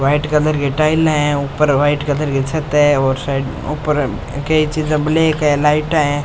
White colour की टाईले है और ऊपर वाइट कलर की छत है और ऊपर कई चीजे ब्लेक है लाइटा है।